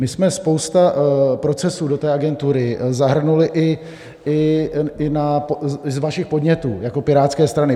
My jsme spoustu procesů do té agentury zahrnuli i z vašich podnětů jako Pirátské strany.